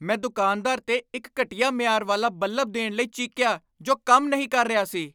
ਮੈਂ ਦੁਕਾਨਦਾਰ 'ਤੇ ਇੱਕ ਘਟੀਆ ਮਿਆਰ ਵਾਲਾ ਬੱਲਬ ਦੇਣ ਲਈ ਚੀਕਿਆ ਜੋ ਕੰਮ ਨਹੀਂ ਕਰ ਰਿਹਾ ਸੀ।